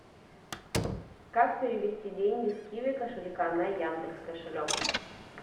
как перевести деньги с киви кошелька на яндекс кошелек